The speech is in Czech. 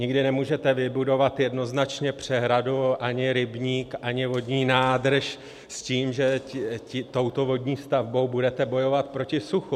Nikdy nemůžete vybudovat jednoznačně přehradu, ani rybník, ani vodní nádrž s tím, že touto vodní stavbou budete bojovat proti suchu.